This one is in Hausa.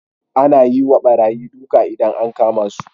Ana yiwa barayi duka idan an kama su